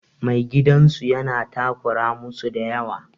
Mai gidan su yana takura musu da yawa.